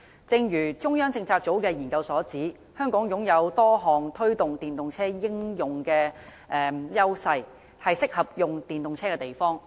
正如中央政策組的研究所指，香港擁有多項推動電動車應用的優勢，是適合使用電動車的地方。